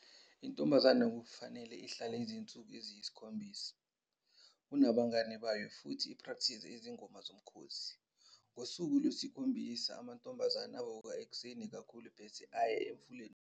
Intombazane kufanele ihlale izinsuku eziyi-7 ku nabangane bayo futhi iprakthize izingoma zomkhosi. Ngosuku lwesikhombisa, amantombazane avuka ekuseni kakhulu bese eya emfuleni oseduze ukuyogeza.